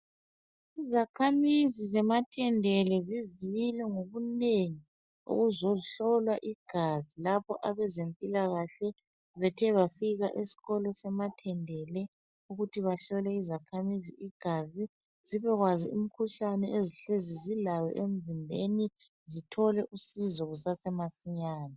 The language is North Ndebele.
Izakhamizi zeMathendele zizile ngobunengi ukuzohlolwa igazi lapho abezempilakahle bethe bafika esikolo semathendele ukuthi bahlole izakhamizi igazi zibekwazi umkhuhlane ezihlezi zilayo emzimbeni zithole usizo kusasemasinyane.